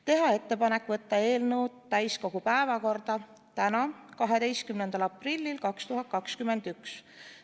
Teha ettepanek võtta eelnõu täiskogu päevakorda tänaseks, 12. aprilliks 2021.